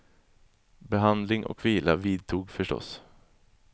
Behandling och vila vidtog, förstås.